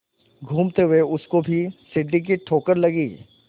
घूमते हुए उसको भी सीढ़ी की ठोकर लगी